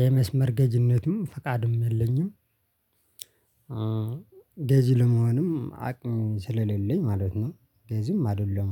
የመስመር ገዚነቱም ፈቃድም የለኝም። ገዚ ለመሆንም አቅም ስለሌለኝ ማለት ነው። ገዝም አይደለም።